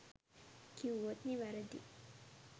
කිව්වොත් නිවැරදි